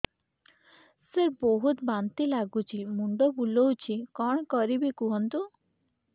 ସାର ବହୁତ ବାନ୍ତି ଲାଗୁଛି ମୁଣ୍ଡ ବୁଲୋଉଛି କଣ କରିବି କୁହନ୍ତୁ